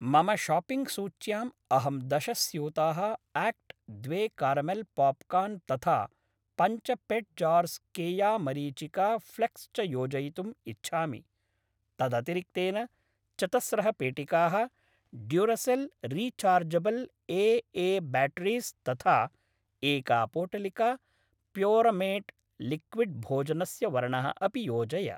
मम शाप्पिङ्ग् सूच्याम् अहं दश स्यूताः आक्ट् द्वे कारमेल् पोप्कार्न् तथा पञ्च पेट् जार्स् केया मरीचिका फ्लेक्स् च योजयितुम् इच्छामि। तदतिरिक्तेन चतस्रः पेटिकाः Duracell rechargeable A A batteries तथा एका पोटलिका प्योरमेट् लिक्विड् भोजनस्य वर्णः अपि योजय।